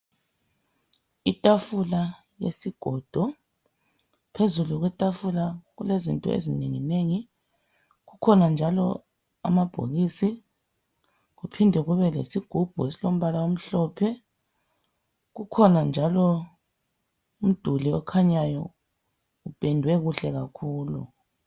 Itafula yesigodo phezulu kwetafula kulezinto ezinenginengi kukhona njalo amabhokisi kuphinde kube lesigubhu elompala omhlophe kukhona njalo umduli okhanyayo upendwe kuhle kakhulu.